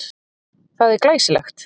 Það er svo glæsilegt.